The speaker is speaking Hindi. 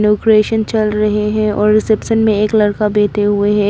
डेकोरेशन चल रहे हैं और रिसेप्शन में एक लड़का बैठे हुए हैं।